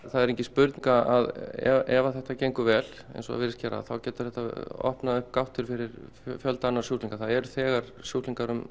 það er engin spurning að ef að þetta gengur vel eins og það virðist gera þá getur þetta opnað upp gáttir fyrir fjölda annarra sjúklinga það eru þegar sjúklingar